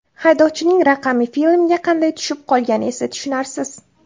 Haydovchining raqami filmga qanday tushib qolgani esa tushunarsiz.